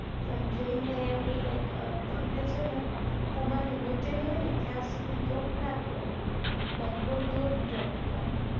અને train ને એવું like તમને છે ને તમારી hotel હોય ને ત્યાં સુધી drope ના કરે like બઉ દુર drope કરે